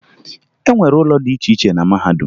E nwere ụlọ dị iche iche na mahadum